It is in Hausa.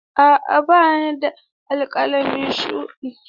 A'a ba ni da alƙalami shuɗi.